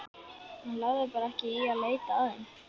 Hann lagði bara ekki í að leita að þeim.